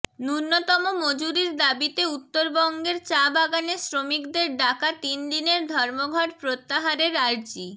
ন্যূনতম মজুরির দাবিতে উত্তরবঙ্গের চা বাগানে শ্রমিকদের ডাকা তিন দিনের ধর্মঘট প্রত্যাহারের আর্জি